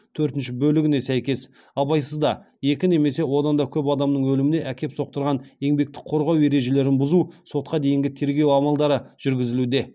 төртінші бөлігіне сәйкес сотқа дейінгі тергеу амалдары жүргізілуде